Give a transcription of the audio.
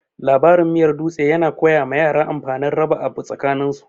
Labarin miyar dutse yana koya ma yara amfanin raba abu tsakanin su.